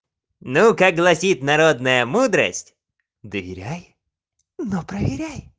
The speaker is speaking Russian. ну как гласит народная мудрость доверяй но проверяй